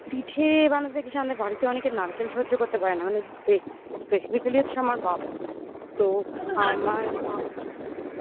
পিঠে বানাতে কিসে আমাদের বাড়িতে অনেকে নারকেল সহ্য করতে পারে না মানে বেশ specifically হচ্ছে আমার বাবা তো আমার মা